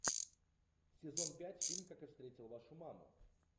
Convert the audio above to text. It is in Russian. сезон пять фильм как я встретил вашу маму